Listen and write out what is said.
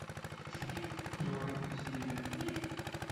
город насилия